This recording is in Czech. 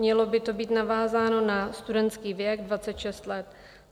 Mělo by to být navázáno na studentský věk 26 let.